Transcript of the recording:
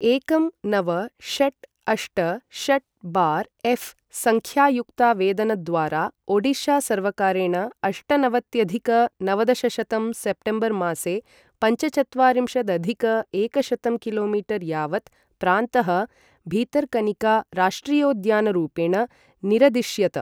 एकं नव षट् अष्ट षट् बार् एफ् सङ्ख्यायुक्तावेदनद्वारा ओडिशा सर्वकारेण अष्टनवत्यधिक नवदशशतं सेप्टेम्बर् मासे पञ्चचत्वारिंशदधिक एकशतं किलोमीटर् यावत् प्रान्तः भितर्कनिका राष्ट्रियोद्यानरूपेण निरदिश्यत।